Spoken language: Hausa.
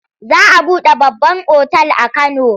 Za a buɗe babban otal a Kano.